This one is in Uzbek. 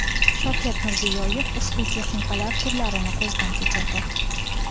Shavkat Mirziyoyev ushbu texnikalar turlarini ko‘zdan kechirdi.